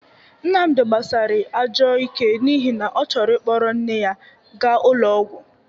Nnamdị gbasịrị ajọ ike n'ihi na ọ chọrọ ịkpọrọ nne ya ga ụlọ ọgwọ..